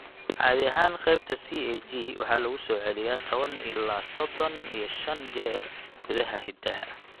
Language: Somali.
Caadi ahaan, qaybta CAG waxaa lagu soo celiyaa toban ilaa sodon iyo shan jeer gudaha hiddaha.